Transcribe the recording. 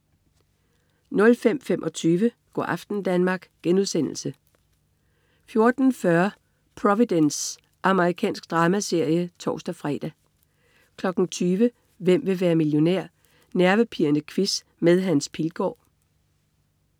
05.25 Go' aften Danmark* 14.40 Providence. Amerikansk dramaserie (tors-fre) 20.00 Hvem vil være millionær? Nervepirrende quiz med Hans Pilgaard